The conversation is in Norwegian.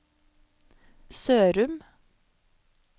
Sørum